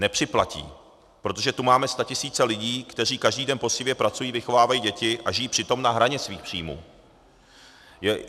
Nepřiplatí, protože tu máme statisíce lidí, kteří každý den poctivě pracují, vychovávají děti a žijí přitom na hraně svých příjmů.